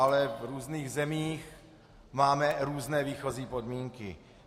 Ale v různých zemích máme různé výchozí podmínky.